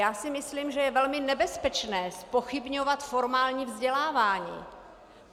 Já si myslím, že je velmi nebezpečné zpochybňovat formální vzdělávání.